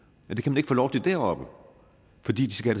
men det kan man ikke få lov til deroppe fordi de skal